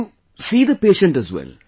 So you see the patient as well